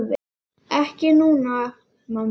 Ekki núna, mamma.